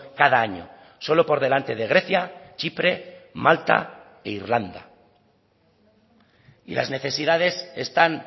cada año solo por delante de grecia chipre malta e irlanda y las necesidades están